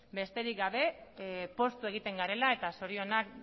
besterik gabe poztu egiten garela eta zorionak